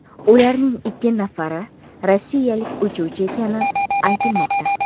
Ularning ikki nafari rossiyalik uchuvchi ekani aytilmoqda.